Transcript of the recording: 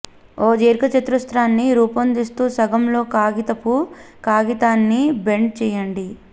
ఒక దీర్ఘచతురస్రాన్ని రూపొందిస్తూ సగం లో కాగితపు కాగితాన్ని బెండ్ చేయండి